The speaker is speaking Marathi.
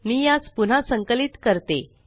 मी यास पुन्हा संकलित करते